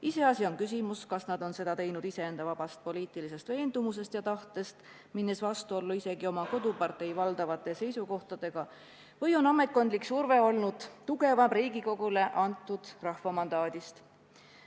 Iseasi on, kas nad on seda teinud iseenda poliitilisest veendumusest ja tahtest, minnes vastuollu isegi oma kodupartei valdavate seisukohtadega, või on ametkondlik surve olnud tugevam Riigikogule antud rahvamandaadist.